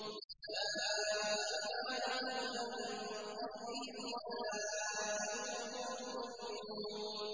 أُولَٰئِكَ عَلَىٰ هُدًى مِّن رَّبِّهِمْ ۖ وَأُولَٰئِكَ هُمُ الْمُفْلِحُونَ